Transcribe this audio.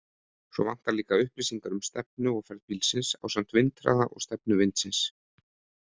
Svo vantar líka upplýsingar um stefnu og ferð bílsins ásamt vindhraða og stefnu vindsins.